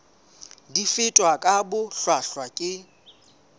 di fetwa ka bohlwahlwa ke